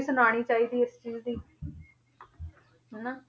ਸੁਣਾਉਣੀ ਚਾਹੀਦੀ ਹੈ ਇਸ ਚੀਜ਼ ਦੀ ਹਨਾ,